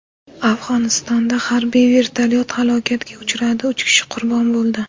Afg‘onistonda harbiy vertolyot halokatga uchradi, uch kishi qurbon bo‘ldi.